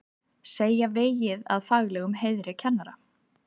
Segja vegið að faglegum heiðri kennara